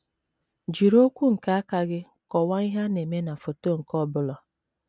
Jiri okwu nke aka gị kọwaa ihe na - eme na foto nke ọ bụla.